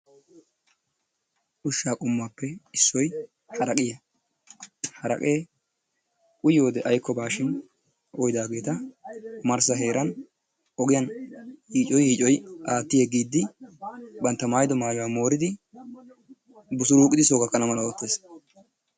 Ushshaa qommuwaappe issoy haraqqiyaa. Haraqee uyyiyoodee aykobaa shin uyyidaageta omarssa heeran ogiyaan yiicoyi yiicoyi aatti yeeggiidi bantta maayido maayuwaa mooridi busuruqidi soo gaakkana mala oottees.